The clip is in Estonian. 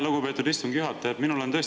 Lugupeetud istungi juhataja!